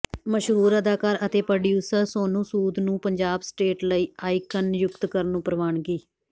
ਮਸ਼ਹੂਰ ਅਦਾਕਾਰ ਅਤੇ ਪ੍ਰੋਡਿਊਸਰ ਸੋਨੂੰ ਸੂਦ ਨੂੰ ਪੰਜਾਬ ਸਟੇਟ ਲਈ ਆਈਕਨ ਨਿਯੁਕਤ ਕਰਨ ਨੂੰ ਪ੍ਰਵਾਨਗੀ